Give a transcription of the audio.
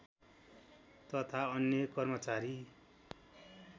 तथा अन्य कर्मचारी